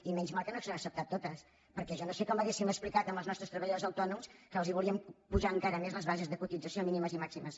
i menys mal que no s’han acceptat totes perquè jo no sé com hauríem explicat als nostres treballadors autònoms que els volíem apujar encara més les bases de cotització mínimes i màximes